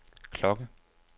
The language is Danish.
klokke